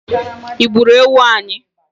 I gburu ewu anyi?